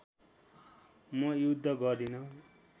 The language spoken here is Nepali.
म युद्ध गर्दिन